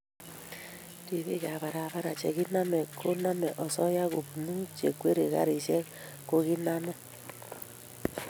ribiik ab barabara che kinamei koname asoya kopunu chekwerie garishek ko kiname